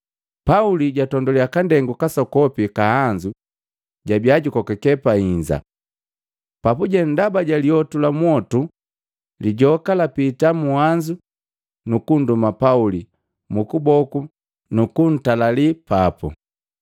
Pauli jatonduliya nsigu nsokopi wa nhanzu jabia jukokake pahinza. Papuje ndaba ja lyotu la mwotu, lijoka lapitila munhanzu nukunduma Pauli mukuboku nukung'ang'anii papu.